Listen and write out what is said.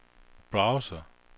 browser